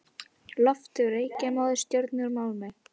Loftið úr reykjarmóðu og sjórinn úr málmi.